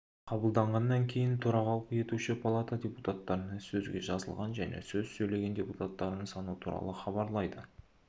қабылданғаннан кейін төрағалық етуші палата депутаттарына сөзге жазылған және сөз сөйлеген депутаттардың саны туралы іабарлайды